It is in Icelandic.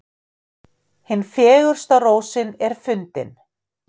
Hin fegursta rósin er fundin.